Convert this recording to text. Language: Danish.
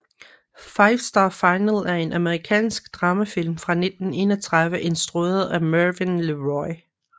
Five Star Final er en amerikansk dramafilm fra 1931 instrueret af Mervyn LeRoy